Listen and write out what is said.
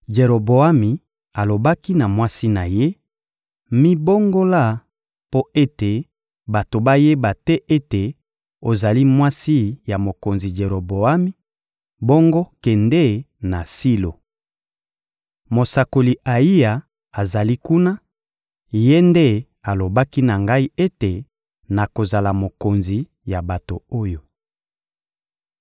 Jeroboami alobaki na mwasi na ye: — Mibongola mpo ete bato bayeba te ete ozali mwasi ya mokonzi Jeroboami; bongo, kende na Silo. Mosakoli Ayiya azali kuna; ye nde alobaki na ngai ete nakozala mokonzi ya bato oyo.